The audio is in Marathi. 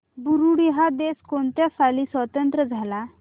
बुरुंडी हा देश कोणत्या साली स्वातंत्र्य झाला